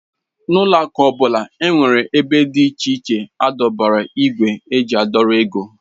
N'ụlọ akụ ọbụla nwere ébé dị iche iche edobere igwe eji a dọrọ ego.